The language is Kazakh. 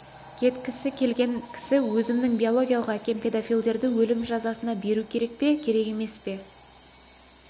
кеткісі келген кісі өзімнің биологиялық әкем педофилдерді өлім жазасына беру керек пе керек емес пе